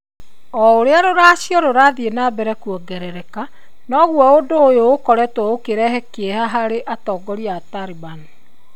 O ũrĩa rũracio rũrathiĩ na mbere kuongerereka, noguo ũndũ ũyũ ũkoretwo ũkĩongerera kiĩha harĩ atongoria a Talibani.